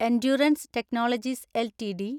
endurance technologies LTD